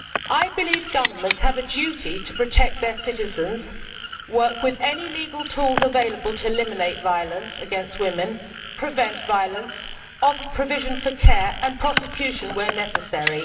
I believe governments have a duty to protect their citizens, work with any legal tools available to eliminate violence against women, prevent violence, and offer provision for care and prosecution where necessary.